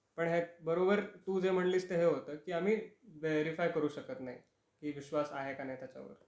पण ह्यात बरोबर तु जे म्हंटलीस ते हे होते की आम्ही व्हेरिफाय करू शकत नाही की विश्वास आहे का नाही त्याच्या वरती.